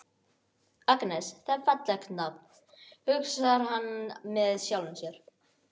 Agnes, það er fallegt nafn, hugsar hann með sjálfum sér.